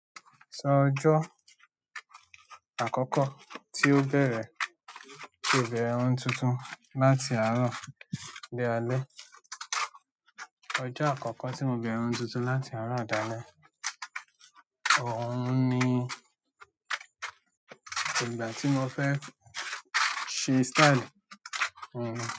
Sọ ọjọ́ àkọ́kọ́ tí ó bẹ̀rẹ̀ tí o bẹ̀rẹ̀ irun tuntun láti àárọ̀ dé alẹ́. Ọjọ́ àkọ́kọ́ tí mo bẹ̀rẹ̀ ohun tuntun láti àárọ̀ dé alẹ́, òún ni ìgbà tí mo fẹ́ ṣe style irun.